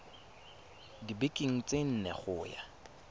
dibekeng tse nne go ya